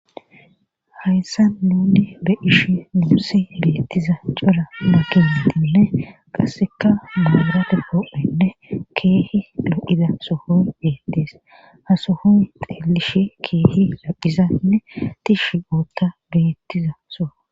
hayssa nunni be ishi muusi beettiza cora makiratinne qasseka maarate koo7enne keehi lo7ida sohoy beettees hasohon xeelishi keehi laqizanne tishi ootta beettiza so